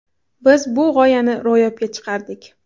Biz bu g‘oyani ro‘yobga chiqardik.